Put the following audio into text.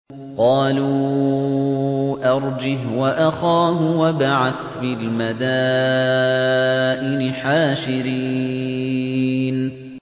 قَالُوا أَرْجِهْ وَأَخَاهُ وَابْعَثْ فِي الْمَدَائِنِ حَاشِرِينَ